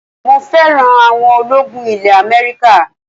mo fẹ́ràn awọn ológun ilẹ̀ America